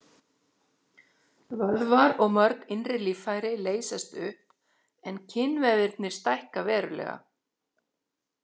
Vöðvar og mörg innri líffæri leysast upp en kynvefirnir stækka verulega.